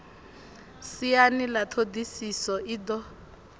siani ḽa ṱhodisiso i do